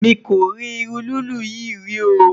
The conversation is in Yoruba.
mí kò rí iru lilu yí rí o